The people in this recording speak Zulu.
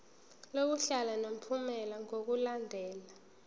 lokuhlala unomphela ngokulandela